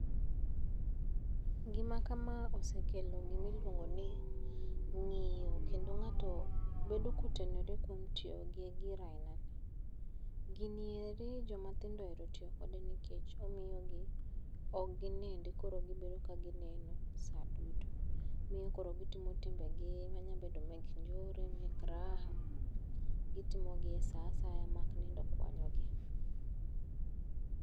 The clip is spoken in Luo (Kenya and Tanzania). Gima kama osekelo gimiluongo ni ng'iyo, kendo ng'ato bedo kotenore kuom tiyo gi gir ainani. Gini eri jomatindo oero tiyo kode nikech omiyogi, ok ginindi koro gibedo ka gineno sa duto. Miyo koro gitimo timbegi manyabedo mek njore, mek raha. Gitimogi e sa asaya mak nindo okwanyogi.